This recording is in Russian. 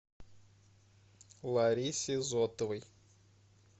ларисе зотовой